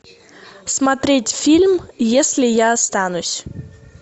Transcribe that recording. смотреть фильм если я останусь